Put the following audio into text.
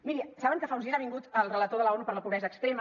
miri saben que fa uns dies ha vingut el relator de l’onu per la pobresa extrema